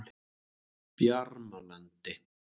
Bjarmalandi